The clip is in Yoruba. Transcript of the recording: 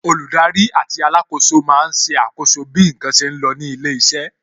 Olùdarí àti alákòóso máa ń ṣe àkọ́so bí n kan ṣe lọ ní ilé iṣẹ́